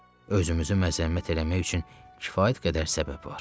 Özümüzü məzəmmət eləmək üçün kifayət qədər səbəb var.